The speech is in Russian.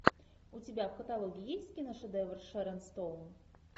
у тебя в каталоге есть киношедевр шерон стоун